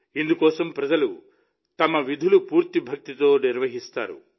ఇందుకోసం ప్రజలు తమ విధులను పూర్తి భక్తితో నిర్వహిస్తారు